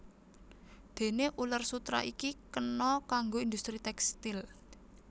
Déné uler sutera iki kena kanggo industri tékstil